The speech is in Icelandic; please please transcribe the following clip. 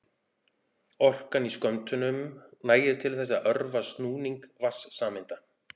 Orkan í skömmtunum nægir til þess að örva snúning vatnssameinda.